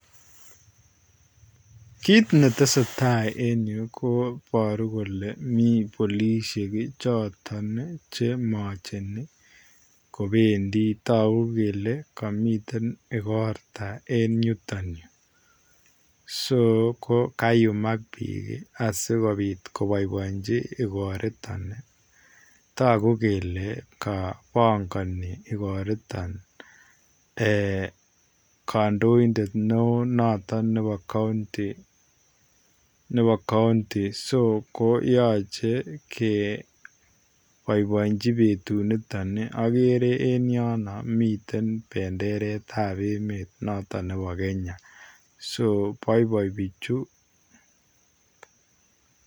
Kit ne tesetai en Yuu ko iboruu kole miii polisiek chotoon ii che machenii kobendii taguu kele kamiten igortaa en yutoon Yuu [so]kayumaak biik asikobaenjii igoritaan ii taguu kele kabangani igoritoon eeh kandoindet notoon ne wooh nebo [county] [so] koyachei kebaibaenjii betut nitoon ii agere en yonoo miten bendereet ab emeet notoon nebo [Kenya] so baibai bichuu.